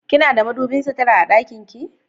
Kina da madubin sutura a ɗakin ki?